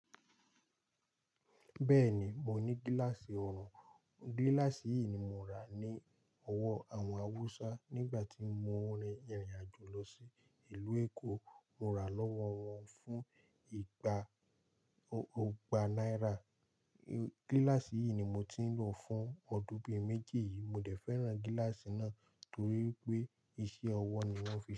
Bẹ́ẹ̀ni, mo ní gíláàsì oòrùn. Gíláàsì yìí ni mo rà ní ọwọ́ àwọn Haúsá nígbà tí mo ń rìnrìn-àjò lọ sí ìlú Èkó. Mo rà á lọ́wọ́ wọn fún ìgbà náírà. Gíláàsì yí ni mo tìn lò fún ọdún bí méjì, mo dẹ̀ fẹ́ràn gíláàsì náà, torí wípé iṣẹ́ ọwọ́ wọ́n fi.